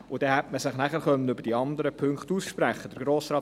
Dann hätte man sich nachher über die anderen Punkte aussprechen können.